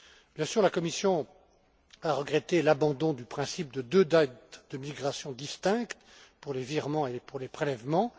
Bien sûr, la Commission a regretté l'abandon du principe de deux dates de migration distinctes pour les virements et les prélèvements.